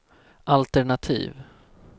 altenativ